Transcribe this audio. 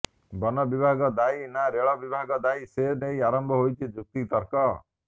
ବନ ବିଭାଗ ଦାୟୀ ନା ରେଳ ବିଭାଗ ଦାୟୀ ସେ ନେଇ ଆରମ୍ଭ ହୋଇଛି ଯୁକ୍ତିିତର୍କ